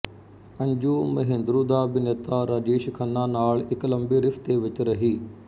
ਅੰਜੂ ਮਹੇਂਦਰੂ ਦਾ ਅਭਿਨੇਤਾ ਰਾਜੇਸ਼ ਖੰਨਾ ਨਾਲ ਇੱਕ ਲੰਬੇ ਰਿਸ਼ਤੇ ਵਿੱਚ ਰਹੀ